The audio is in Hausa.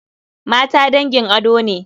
Mata dangin ado ne.